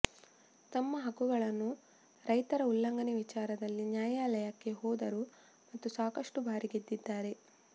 ತಮ್ಮ ಹಕ್ಕುಗಳನ್ನು ರೈತರ ಉಲ್ಲಂಘನೆ ವಿಚಾರದಲ್ಲಿ ನ್ಯಾಯಾಲಯಕ್ಕೆ ಹೋದರು ಮತ್ತು ಸಾಕಷ್ಟು ಬಾರಿ ಗೆದ್ದಿದ್ದಾರೆ